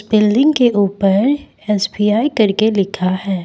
Building के ऊपर SBI करके लिखा है।